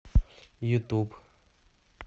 ютуб